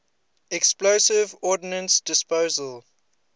explosive ordnance disposal